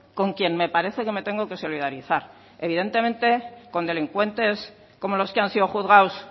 con quien me parece que me tengo que solidarizar evidentemente con delincuentes como los que han sido juzgados